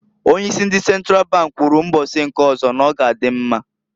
Onye isi ndi Sentral bank kwuru mbosi nke ozo n'ọga adị mma.